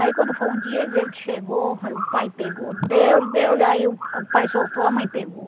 Aí quando foi um dia ele diz ele que chegou, aí o pai pegou, deu-lhe, deu-lhe, aí o o pai soltou, a mãe pegou.